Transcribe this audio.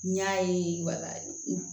N y'a ye walayi